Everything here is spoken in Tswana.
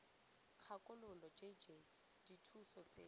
kgakololo j j dithuso tseno